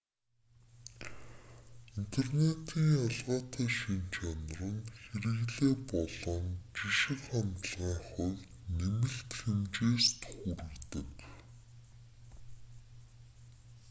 интернетийн ялгаатай шинж чанар нь хэрэглээ болон жишиг хандлагын хувьд нэмэлт хэмжээст хүргэдэг